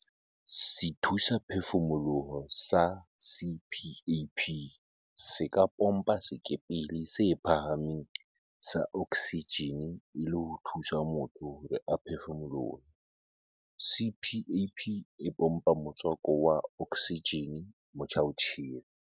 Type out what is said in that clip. Sethusaphefu-moloho sa CPAP se ka pompa sekepele se phahameng sa oksijene e le ho thusa motho hore a phefumolohe. CPAP e pompa motswako wa oksijene motjhaotjhele.